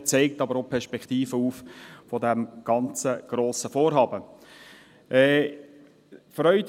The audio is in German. Er zeigt aber auch die Perspektiven dieses ganzen, grossen Vorhabens auf.